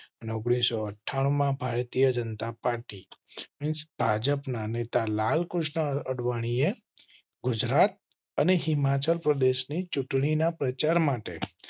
ઓગણીસો અઠ્ઠા ણું માં ભારતીય જનતા પાર્ટી ભાજપ ના નેતા લાલકૃષ્ણ અડવાણીએ ગુજરાત અને હિમાચલ પ્રદેશ ની. ચૂંટણી ના પ્રચાર માટે